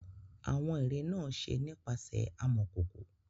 Awọn ere naa ṣe nipasẹ amọkoko.